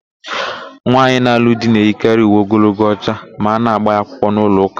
Nwaanyị na-alụ di na-eyikarị uwe ogologo ọcha ma a na-ágbà ya akwụkwọ n'ụlọụka.